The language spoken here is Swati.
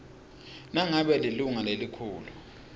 nangabe lilunga lelikhulu